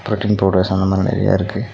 Protein powders அந்த மாரி நெறையா இருக்கு.